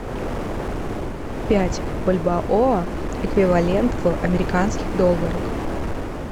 пять бальбоа эквивалент в американских долларах